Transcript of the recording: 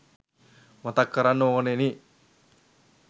මතක් කරන්න ඕනෙනි.